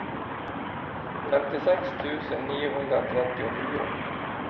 femtiosex tusen niohundratrettionio